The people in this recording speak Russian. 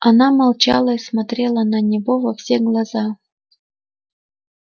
она молчала и смотрела на него во все глаза